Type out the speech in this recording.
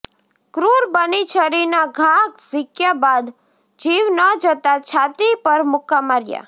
ક્રુર બની છરીના ઘા ઝીંક્યા બાદ જીવ ન જતા છાતી પર મુક્કા માર્યા